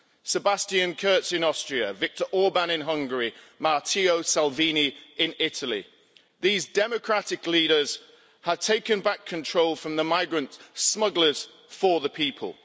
Sebastian Kurz in Austria, Viktor Orbán in Hungary, Matteo Salvini in Italy these democratic leaders have taken back control from the migrant smugglers for the people.